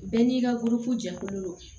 Bɛɛ n'i ka boloko jɛkulu don